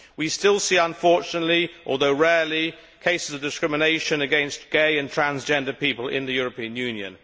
We still see unfortunately, although rarely, cases of discrimination against gay and transgender people in the European Union.